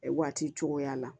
Waati cogoya la